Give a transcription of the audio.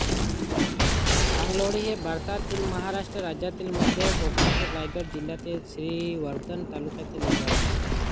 पांगलोळी हे भारतातील महाराष्ट्र राज्यातील मध्य कोकणातील रायगड जिल्ह्यातील श्रीवर्धन तालुक्यातील एक गाव आहे